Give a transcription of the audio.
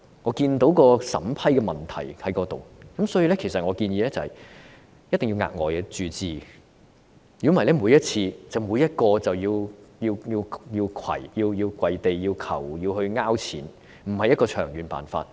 我看到審批機制出現了問題，所以我建議一定要額外注資，否則每位病人每次申請援助時也要下跪祈求資助，這不是長遠的辦法。